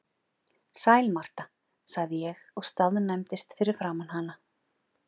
Sæl Marta, sagði ég og staðnæmdist fyrir framan hana.